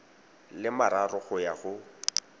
le mararo go ya go